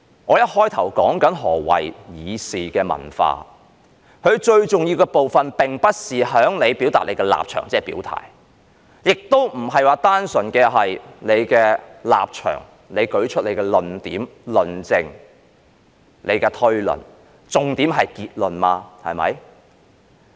我一開始說何謂議事的文化，最重要的部分並不是在於表達立場，亦不單純是你個人的立場；你舉出你的論點、論證、推論，但重點是結論，對嗎？